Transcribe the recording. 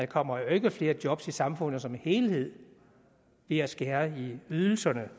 kommer ikke flere job i samfundet som helhed ved at skære i ydelserne